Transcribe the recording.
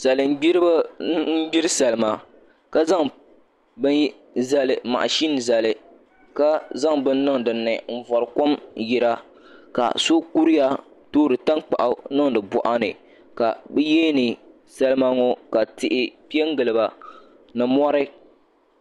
Salin gniribi n gbiri salima ka zaŋ mashin zali ka zaŋ bini niŋ dinni n bori kom yira ka so kuriya toori tankpaɣu n niŋdi boɣa ni ka bi yihiri salima ŋo ka tihi piɛ n giliba ni mori